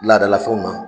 Laadalafɛnw na